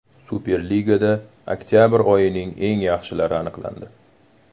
Superligada oktabr oyining eng yaxshilari aniqlandi.